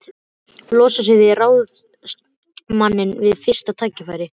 Möggu frá því í fyrra og hitteðfyrra.